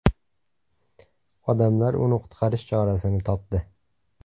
Odamlar uni qutqarish chorasini topdi .